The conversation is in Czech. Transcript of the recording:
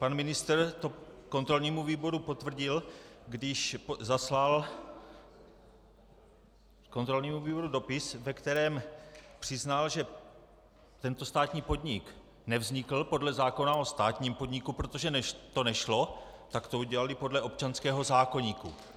Pan ministr to kontrolnímu výboru potvrdil, když zaslal kontrolnímu výboru dopis, ve kterém přiznal, že tento státní podnik nevznikl podle zákona o státním podniku, protože to nešlo, tak to udělali podle občanského zákoníku.